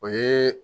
O ye